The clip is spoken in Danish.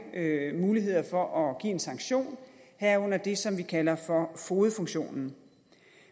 muligheder for at give en sanktion herunder det som vi kalder fogedfunktionen